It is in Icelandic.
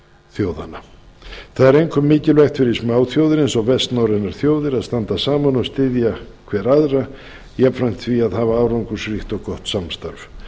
þjóðanna það er einkum mikilvægt fyrir smáþjóðir eins og gert norrænar þjóðir að standa saman og styðja hver aðra jafnframt því að hafa árangursríkt og gott samstarf